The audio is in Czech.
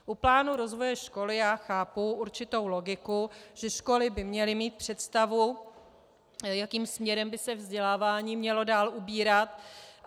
U plánu rozvoje školy já chápu určitou logiku, že školy by měly mít představu, jakým směrem by se vzdělávání mělo dál ubírat.